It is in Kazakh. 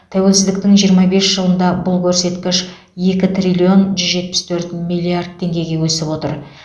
тәуелсіздіктің жиырма бес жылында бұл көрсеткіш екі триллион жүз жетпіс төрт миллиард теңгеге өсіп отыр